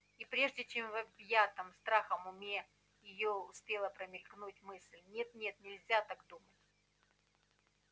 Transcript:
и прежде чем в объятом страхом уме её успела промелькнуть мысль нет нет нельзя так думать